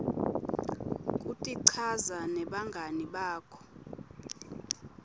kutichaza nebangani bakho